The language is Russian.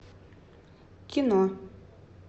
кино